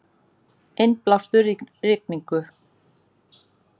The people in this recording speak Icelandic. Innblástur í rigningu